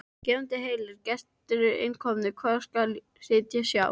Gefendur heilir, gestur er inn kominn, hvar skal sitja sjá?